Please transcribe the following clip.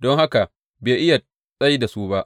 don haka bai iya tsai da su ba.